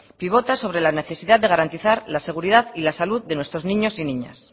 pivota sobre la necesidad de garantizar la seguridad y la salud de nuestros niños y niñas